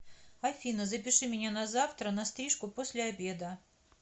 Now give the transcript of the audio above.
афина запиши меня на завтра на стрижку после обеда